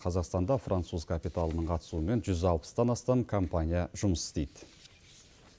қазақстанда француз капиталының қатысуымен жүз алпыстан астам компания жұмыс істейді